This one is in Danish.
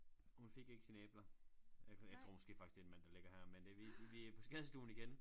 Hun fik ikke sine æbler jeg jeg tror måske faktisk det en mand der ligger her men det vi vi vi på skadestuen igen